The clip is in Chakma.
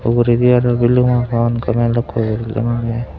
uguredi aro balun agon gomey lokko ye .